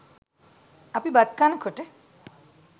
අපි බත් කනකොට